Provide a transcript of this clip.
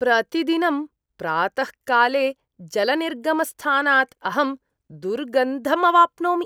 प्रतिदिनं प्रातःकाले जलनिर्गमस्थानात् अहं दुर्गन्धम् अवाप्नोमि।